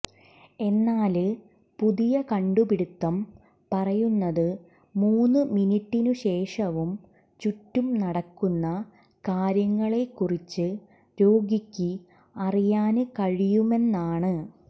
എന്നാല് പുതിയ കണ്ടുപിടുത്തം പറയുന്നത് മൂന്ന് മിനിട്ടിനു ശേഷവും ചുറ്റും നടക്കുന്ന കാര്യങ്ങളെക്കുറിച്ച് രോഗിക്ക് അറിയാന് കഴിയുമെന്നാണ്